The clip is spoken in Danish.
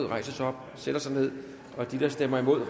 rejse sig op og sætte sig ned og de der stemmer imod